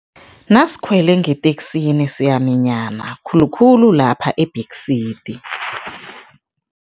Nasikhwele ngeteksini siyaminyana, khulukhulu lapha e-back seat.